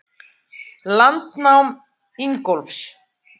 Landnám Ingólfs.